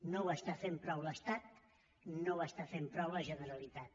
no ho està fent prou l’estat no ho està fent prou la generalitat